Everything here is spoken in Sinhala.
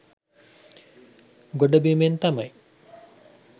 ගොඩබිමෙන් තමයි